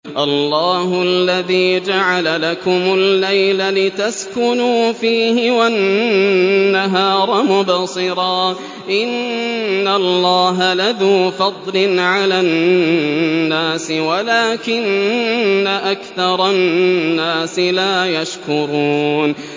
اللَّهُ الَّذِي جَعَلَ لَكُمُ اللَّيْلَ لِتَسْكُنُوا فِيهِ وَالنَّهَارَ مُبْصِرًا ۚ إِنَّ اللَّهَ لَذُو فَضْلٍ عَلَى النَّاسِ وَلَٰكِنَّ أَكْثَرَ النَّاسِ لَا يَشْكُرُونَ